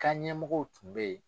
K'an ɲɛmɔgɔ tun bɛ yen.